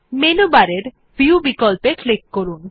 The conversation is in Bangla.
মেনু বারের ভিউ বিকল্পে ক্লিক করুন